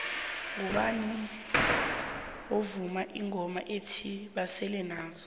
ngubani ovuma ingoma ethi basele nazo